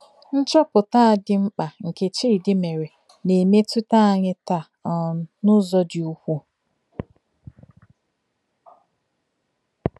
Nchọpụta a dị mkpa nke Chidi mere na-emetụta anyị taa um n’ụzọ dị ukwuu.